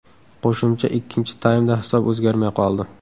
Qo‘shimcha ikkinchi taymda hisob o‘zgarmay qoldi.